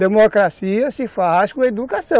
Democracia se faz com educação.